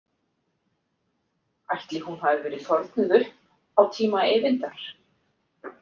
Ætli hún hafi verið þornuð upp á tíma Eyvindar?